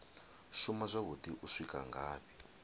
shuma zwavhuḓi u swika ngafhi